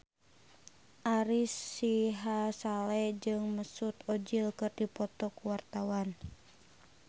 Ari Sihasale jeung Mesut Ozil keur dipoto ku wartawan